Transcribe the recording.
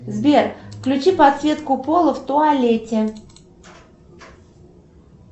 сбер включи подсветку пола в туалете